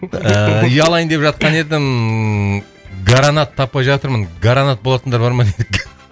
ііі үй алайын деп жатқан едім гаранат таппай жатырмын гаранат болатындар бар ма дейді